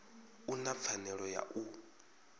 u na pfanelo ya u